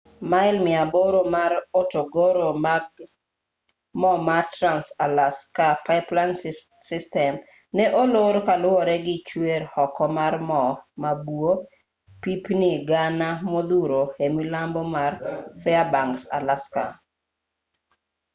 mail 800 mag hotogoro mag mo ma trans-alaska pipeline system ne olor kaluwore gi chwer oko mar mo mabuo pipni gana modhuro e milambo mar fairbanks alaska